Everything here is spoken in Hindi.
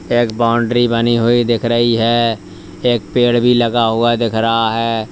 एक बाउंड्री बनी हुई दिख रही है एक पेड़ भी लगा हुआ दिख रहा है।